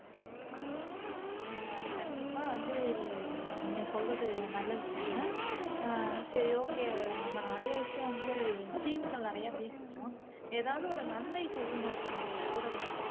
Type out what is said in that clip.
கண்டிப்பா வந்து நீங்க சொல்றது நல்ல விஷயம்தான் ஆஹ் சரி okay நம்ம நிறைய விஷயம் வந்து தீமைகள் நிறைய பேசிட்டோம் ஏதாவது ஒரு நன்மை சொல்லுங்க சிம்பு ஊடகத்தை